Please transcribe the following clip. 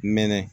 Mɛnɛ